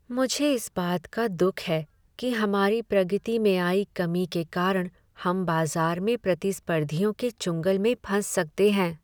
मुझे इस बात का दुख है कि हमारी प्रगति में आई कमी के कारण हम बाजार में प्रतिस्पर्धियों के चुंगल में फंस सकते हैं।